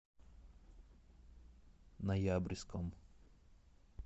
ноябрьском